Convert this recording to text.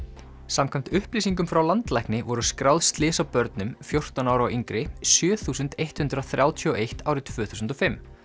samkvæmt upplýsingum frá landlækni voru skráð slys á börnum fjórtán ára og yngri sjö þúsund eitt hundrað þrjátíu og eitt árið tvö þúsund og fimm